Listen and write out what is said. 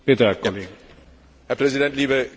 Herr Präsident, liebe Kolleginnen und Kollegen!